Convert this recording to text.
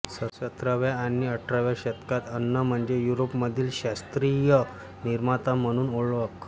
सतराव्या आणि अठराव्या शतकात अन्न म्हणजे युरोपमधील शास्त्रीय निर्माता म्हणून ओळख